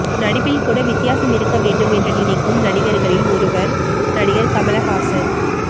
நடிப்பில் கூட வித்தியாசம் இருக்க வேண்டும் என்று நினைக்கும் நடிகர்களில் ஒருவர் நடிகர் கமலஹாசன்